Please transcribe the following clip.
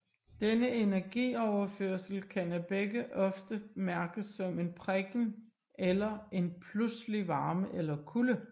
Denne energioverførsel kan af begge ofte mærkes som en prikken eller en pludselig varme eller kulde